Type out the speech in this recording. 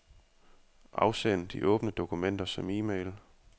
Afsend de åbne dokumenter som e-mail.